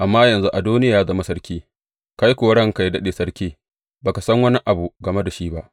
Amma yanzu Adoniya ya zama sarki, kai kuwa ranka yă daɗe sarki, ba ka san wani abu game da shi ba.